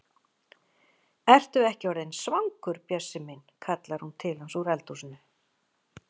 Ertu ekki orðinn svangur, Bjössi minn? kallar hún til hans úr eldhúsinu.